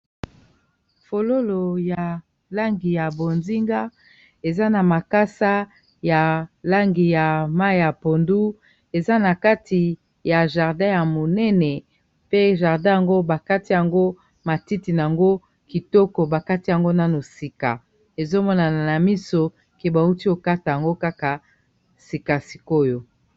fololo ya langi ya bozinga eza na makasa ya langi ya mai ya pondu eza na kati ya jardin ya monene pe jardin yango bakati yango matiti na yango kitoko bakati yango nano sika ezomonana na miso ke bauti kokata yango kaka sika sikoyo